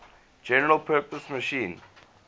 general purpose machine